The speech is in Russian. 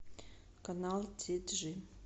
канал ти джи